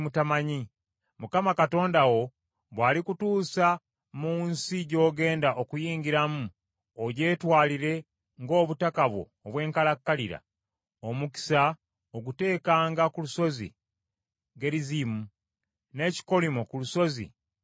Mukama Katonda wo bw’alikutuusa mu nsi gy’ogenda okuyingiramu ogyetwalire ng’obutaka bwo obw’enkalakkalira, omukisa oguteekanga ku lusozi Gerizimu, n’ekikolimo ku lusozi Ebali.